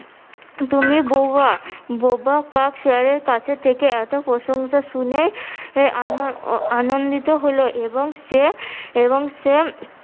তুমি বৌহা। বোবা কাক শেয়ালের কাছে থেকে এতো প্রশংসা শুনে আনন~ আনন্দিত হলো এবং সে এবং সে